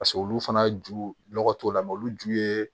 Paseke olu fana ju nɔgɔ t'o la mɛ olu ju ye